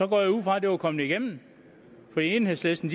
går jeg ud fra at det var kommet igennem for enhedslisten